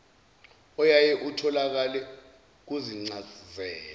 oyaye utholakale kuzincazelo